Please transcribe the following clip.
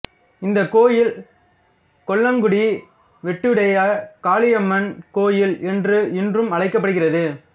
இந்தக் கோயில் கொல்லங்குடி வெட்டுடையகாளியம்மன் கோயில் என்று இன்றும் அழைக்கப்படுகிறது